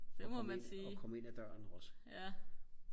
det må man sige ja